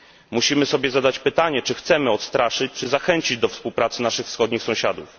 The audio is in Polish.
Musimy sobie zadać pytanie, czy chcemy odstraszyć, czy zachęcić do współpracy naszych wschodnich sąsiadów?